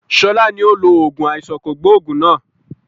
Sọlá ni ó lo oògùn àìsàn kògbógùn náà